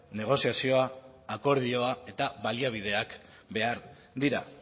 negoziazioa akordioa eta baliabideak behar dira